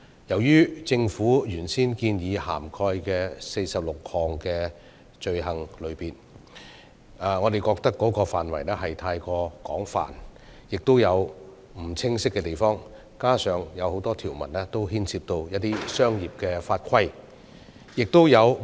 對於政府原先建議涵蓋的46項罪行類別，我們認為範圍過於廣泛，亦有不清晰的地方，加上多項條文牽涉一些商業法規。